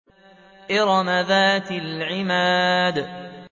إِرَمَ ذَاتِ الْعِمَادِ